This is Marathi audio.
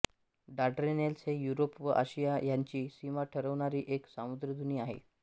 डार्डेनेल्झ ही युरोप व आशिया ह्यांची सीमा ठरवणारी एक सामुद्रधुनी आहे